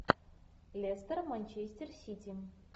лестер манчестер сити